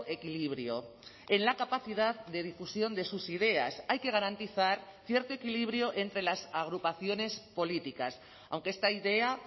equilibrio en la capacidad de difusión de sus ideas hay que garantizar cierto equilibrio entre las agrupaciones políticas aunque esta idea